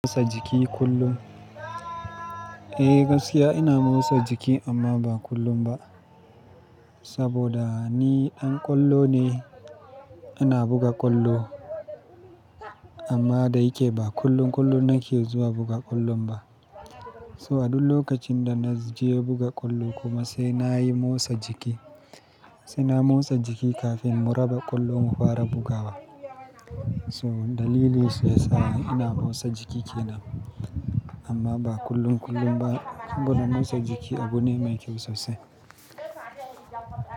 Motsa jiki kullum? Eh, gaskiya ina motsa jiki amma ba kullum ba. Saboda ni ɗan ƙwallo ne, ana buga ƙwallo. Amma da yake ba kullum kullum nake zuwa buga ƙwallon ba. So a duk lokacin da na je buga ƙwallo, kuma sai na yi motsa jiki. Sai na motsa jiki kafin mu raba ƙwallo mu fara bugawa. So dalilin saisa ina motsa jiki kenan. Amma ba kullum kullum ba. Saboda motsa jiki abu ne mai kyau sosai.